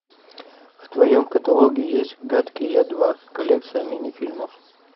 в твоем каталоге есть гадкий я два коллекция мини фильмов